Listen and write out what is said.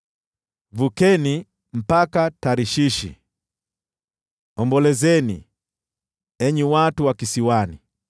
Vukeni mpaka Tarshishi, ombolezeni, enyi watu wa kisiwani.